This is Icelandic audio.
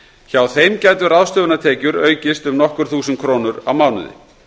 hjá þeim gætu ráðstöfunartekjur aukist um nokkur þúsund krónur á mánuði